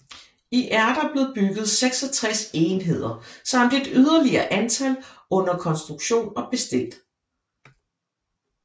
I er der blevet bygget 66 enheder samt et yderligere antal under konstruktion og bestilt